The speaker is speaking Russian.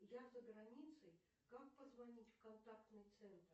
я за границей как позвонить в контактный центр